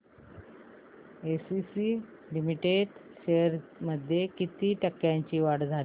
ACC limited shares मध्ये किती टक्क्यांची वाढ झाली